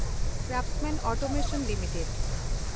Craftsman Automation limited